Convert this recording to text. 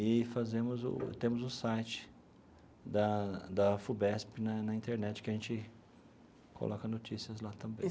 E fazemos o temos o site da da Afubesp na na internet, que a gente coloca notícias lá também.